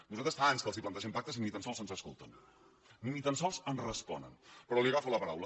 nosaltres fa anys que els plantegem pactes i ni tan sols ens escolten ni tan sols ens responen però li agafo la paraula